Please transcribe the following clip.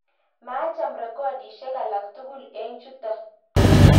maacham rekodisiek alak tugul eng' chuto